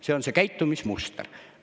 See on see käitumismuster.